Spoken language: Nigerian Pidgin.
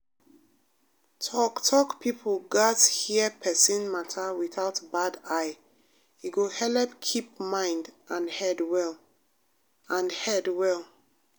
talk-talk people gatz hear persin matter without bad eye e go helep keep mind and head well. and head well.